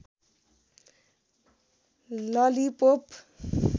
lollipop